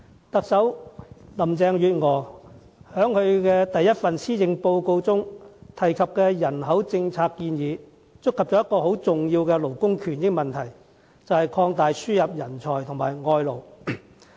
特首林鄭月娥在首份施政報告中提及的人口政策建議，觸及一個很重要的勞工權益問題，便是擴大輸入人才和外勞。